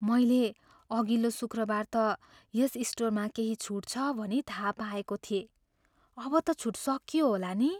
मैले अघिल्लो शुक्रबार त यस स्टोरमा केही छुट छ भनी थाहा पाएको थिएँ। अब त छुट सकियो होला नि?